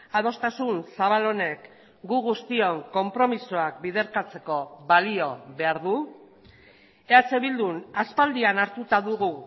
adostasun zabal honek gu guztion konpromisoak biderkatzeko balio behar du eh bildun aspaldian hartuta dugu